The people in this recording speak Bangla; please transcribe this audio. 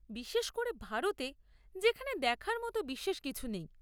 বিশেষ করে ভারতে, যেখানে দেখার মতো বিশেষ কিছু নেই!